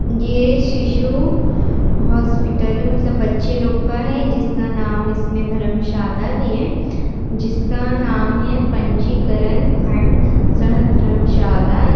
ये शिशु हॉस्पिटल है मतलब बच्चे लोग का है जिस का नाम इसमें धर्मशाला भी है जिस का नाम है पंजीकरण खंड शाह-धर्मशाला।